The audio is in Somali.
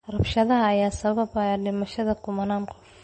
Rabshadaha ayaa sababay dhimashada kumanaan qof.